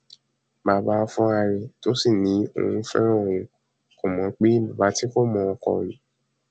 bàbá fúnra ẹ tó sì ní òun fẹràn òun òun kó mọ pé bàbá tí kò mọ ọn kò ní